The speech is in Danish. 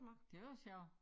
Det var sjovt